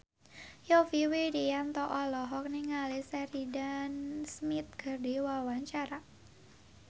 Yovie Widianto olohok ningali Sheridan Smith keur diwawancara